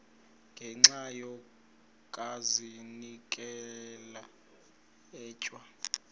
ngenxa yokazinikela etywa